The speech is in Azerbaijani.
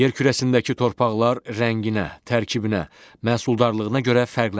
Yer kürəsindəki torpaqlar rənginə, tərkibinə, məhsuldarlığına görə fərqlənir.